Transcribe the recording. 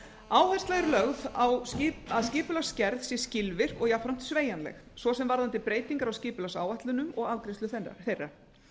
áhersla er lögð á að skipulagsgerð sé skilvirk og jafnframt sveigjanleg svo sem varðandi breytingar á skipulagsáætlunum og afgreiðslu þeirra